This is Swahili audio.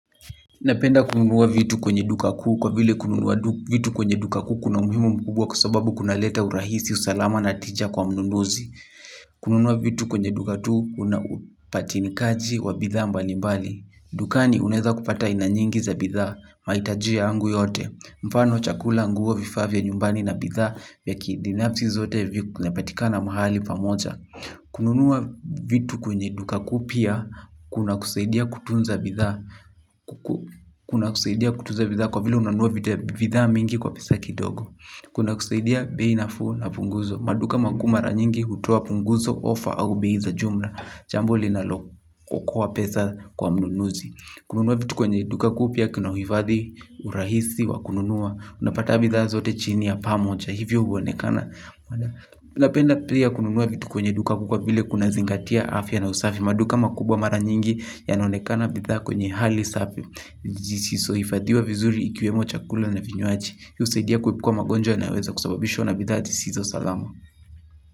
Napenda kununua vitu kwenye duka kuu kwa vile kununua vitu kwenye duka kuu kuna umhimu mkubwa kwa sababu kuna leta urahisi usalama na tija kwa mununuzi. Kununua vitu kwenye duka tu unapatinikaji wa bidhaa mbali mbali. Dukani unaeza kupata aina nyingi za bidhaa mahitajia yangu yote. Mfano chakula nguo vifaa vya nyumbani na bidhaa vyakibinafsi zote vinapatikana mahali pamoja. Kununua vitu kwenye duka kupya. Kuna kusaidia kutunza bidhaa. Kuna kusaidia kutunza bidhaa. Kwa vile unanua bidhaa mingi kwa pesa kidogo. Kuna kusaidia bei nafuu na punguzo. Maduka makuu mara nyingi hutoa punguzo ofa au bei za jumla jambo linalo okoa pesa kwa mnunuzi. Kununua vitu kwenye duka kupya kuna hufadhi urahisi wa kununua. Unapata bidhaa zote chini ya pamoja. Hivyo huonekana napenda pia kununua vitu kwenye duka kuu kwa vile kunazingatia afya na usafi. Maduka makubwa mara nyingi yanaonekana bidhaa kwenye hali safi zisizo hifadhiwa vizuri ikiwemo chakula na vinywaji hii husaidia kuepuka magonjwa na yanoyoweza kusababishwa na bidhaa zisizo salama.